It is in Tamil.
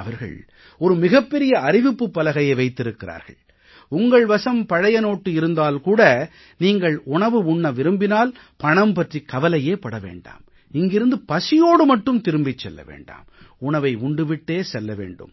அவர்கள் ஒரு மிகப் பெரிய அறிவிப்புப் பலகையை வைத்திருக்கிறார்கள் உங்கள் வசம் பழைய நோட்டு இருந்தால் கூட நீங்கள் உணவு உண்ண விரும்பினால் பணம் பற்றி கவலைப் பட வேண்டாம் இங்கிருந்து பசியோடு மட்டும் திரும்பிச் செல்ல வேண்டாம் உணவை உண்டு விட்டே செல்ல வேண்டும்